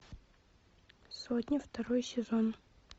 сотня второй сезон